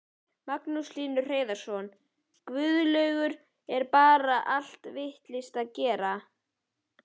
Magnús Hlynur Hreiðarsson: Guðlaugur, er bar allt vitlaust að gera?